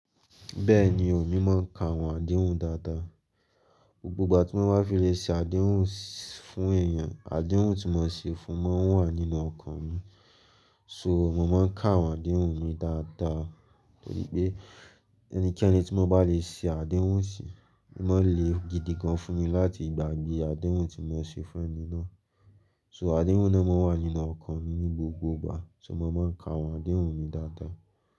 Bẹ́ẹ̀ni, èmi máa ń ka àwọn àdéhùn dáadáa. Gbogbo ìgbà tí mo bá fi lè ṣe àdéhùn fún èèyàn, àdéhùn tí mo ṣe fún wọn wà nínú ọkàn mi. So, mo máa ń ka àwọn àdéhùn mi dáadáa torí pé ẹnikẹ́ni tí mo bá lè ṣe àdéhùn sí, máa le gidi gan fún mi láti gbàgbé àdéhùn tí mo ṣe fún ẹni náà. So, àdéhùn náà máa wà nínú ọkàn mi ní gbogbo ìgbà, ṣùgbọ́n mo máa ń ka àwọn àdéhùn mi dáadáa.